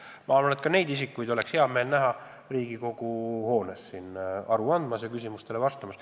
Ma arvan, et ka selliseid isikuid oleks teil hea meel näha Riigikogu hoones aru andmas ja küsimustele vastamas.